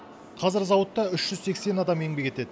қазір зауытта үш жүз сексен адам еңбек етеді